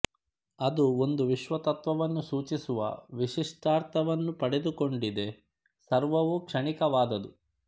ಅದು ಒಂದು ವಿಶ್ವ ತತ್ತ್ವವನ್ನು ಸೂಚಿಸುವ ವಿಶಿಷ್ಟಾರ್ಥವನ್ನು ಪಡೆದುಕೊಂಡಿದೆ ಸರ್ವವೂ ಕ್ಷಣಿಕವಾದದು